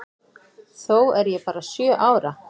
Þó er ég bara sjö ára.